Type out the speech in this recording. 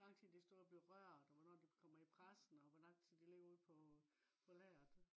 hvor lang tid det er stået og blevet rørt og hvornår det kommer i pressen og hvor lang tid det ligger ude på lageret